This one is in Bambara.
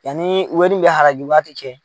Yanni wɛri in mɛ halaki waati cɛ